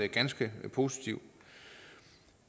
ganske positivt